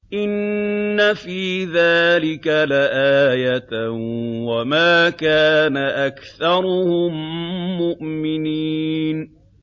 إِنَّ فِي ذَٰلِكَ لَآيَةً ۖ وَمَا كَانَ أَكْثَرُهُم مُّؤْمِنِينَ